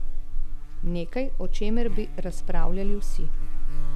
Nekaj, o čemer bi razpravljali vsi.